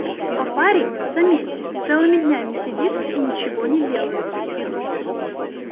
а парень заметьте целыми днями сидит и ничего не делает